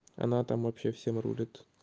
она там вообще всем рулит